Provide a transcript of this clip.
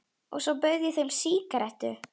Og svo bauð ég þeim sígarettu.